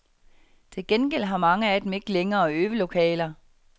Til gengæld har mange af dem ikke længere øvelokaler.